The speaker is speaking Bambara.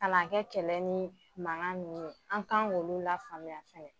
Kana kɛ kɛlɛ mankan nunnu ye an k'an k’olu lafaamuya.